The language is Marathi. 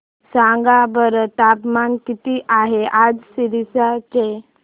सांगा बरं तापमान किती आहे आज सिरसा चे